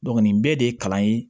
nin bɛɛ de ye kalan ye